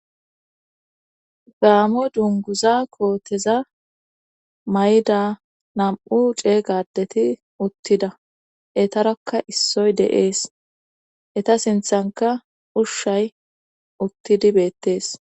Gaamo dunguza kooteza may,da namu cee gadeti uttida etarakka issoy deees eta sinthanka ushshay uttidi beettees